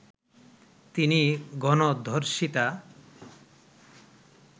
তিনি গণধর্ষিতা